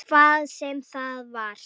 Hvað sem það var.